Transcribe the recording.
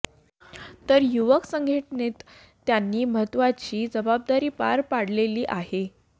तर युवक संघटनेत त्यांनी महत्त्वाची जबाबदारी पार पाडलेली आहे